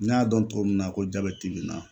N y'a dɔn cogo min na ko jabɛti be na